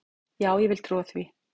Já, ég vil trúa því.